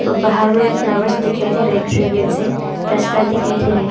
बाहर में फ्लावर्स दिखाई दे रहा है ग्रीन ग्रीन से रस्ता दिखाई दे रहे।